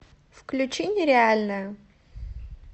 включи нереальная